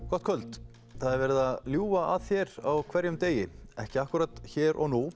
gott kvöld það er verið að ljúga að þér á hverjum degi ekki akkúrat hér og nú